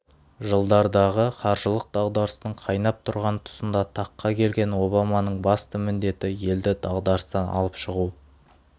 жылдардағы қаржылық дағдарыстың қайнап тұрған тұсында таққа келген обаманың басты міндеті елді дағдарыстан алып шығу